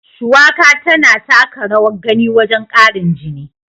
Shuwaka tana taka rawar gani wajen ƙarin jini.